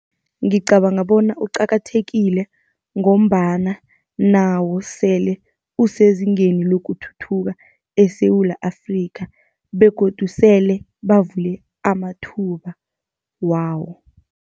Ngicabanga bona uqakathekile, ngombana nawo sele usezingeni lokuthuthuka eSewula Afrika, begodu sele bavule amathuba wawo.